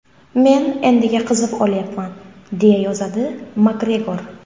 Men endiga qizib olyapman”, deya yozadi Makgregor.